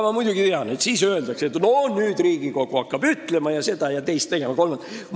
Ma muidugi tean, et selle peale öeldakse, et siis hakkab Riigikogu ette ütlema ning seda, teist ja kolmandat tegema.